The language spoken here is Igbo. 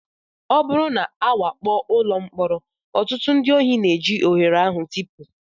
Ọ bụrụ na a wakpo ụlọ mkpọrọ, ọtụtụ ndị ohi na-eji ohere a tipụ